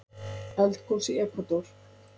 Eldgos í Ekvador